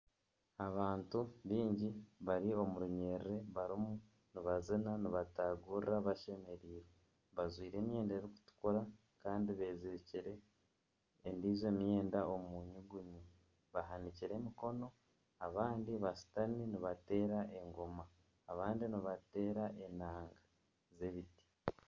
Abantu baingi bari omurunyerere bariyo nibazina nibatagurira bashemereirwe bajwaire emyenda erikutukura Kandi bezirikire endiijo myenda omu nyugunyu bahanikire emikono abandi bashutami nibateera engoma abandi nibateera enanga z'ebiti.